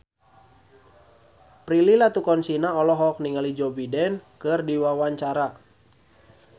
Prilly Latuconsina olohok ningali Joe Biden keur diwawancara